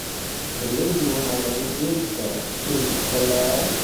Galleyda waxaa lagu beeri karaa dhul ballaaran.